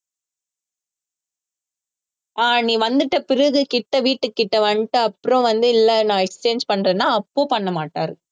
ஆஹ் நீ வந்துட்ட பிறகு கிட்ட வீட்டுக்கு கிட்ட வந்துட்ட அப்புறம் வந்து இல்ல நான் exchange பண்றேன்னா அப்ப பண்ண மாட்டாரு